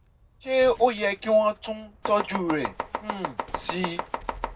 ṣé ó yẹ kí wọ́n tún tọ́jú rẹ̀ um sí i?